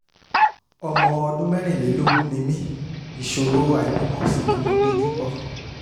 ọmọ ọdún mẹ́rìnlélógún ni mí ìṣòro àìbímọ sì ni mò ń dojúkọ